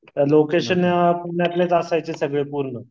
location पुण्यातलेच असायचे सगळे पूर्ण